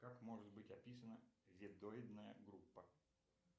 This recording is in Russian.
как может быть описана ведоидная группа